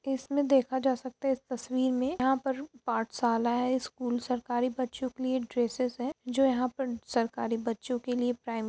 इसमें देखा जा सकता है। इस तस्वीर में यहाँ पर पाठशाला है। स्कूल सरकारी बच्चों के लिए ड्रेसेज है जो यहाँ पर सरकारी बच्चों के लिए पहन --